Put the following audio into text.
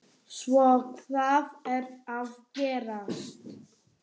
Svo hvað er að gerast?